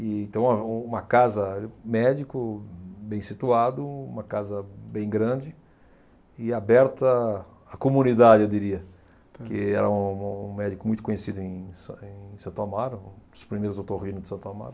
E então, uma uma casa, médico, bem situado, uma casa bem grande e aberta à comunidade, eu diria, porque era um um médico muito conhecido em San em Santo Amaro, um dos primeiros otorrinos de Santo Amaro.